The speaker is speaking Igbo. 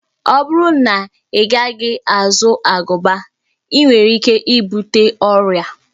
Ọ bụrụ na Ị gaghị azụ agụba, i nwere ike ibute ọria